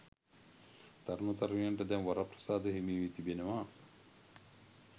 තරුණ තරුණියන්ට දැන් වරප්‍රසාද හිමිවී තිබෙනවා.